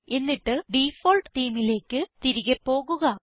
എന്നിട്ട് ഡിഫോൾട്ട് themeലേക്ക് തിരികെ പോകുക